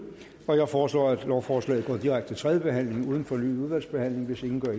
jeg foreslår at lovforslaget går direkte til tredje behandling uden fornyet udvalgsbehandling hvis ingen gør